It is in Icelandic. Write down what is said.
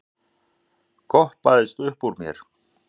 goppaðist uppúr mér.